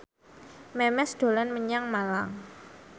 Memes dolan menyang Malang